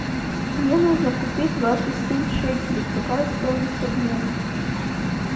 мне нужно купить двадцать семь шекелей какая стоимость обмена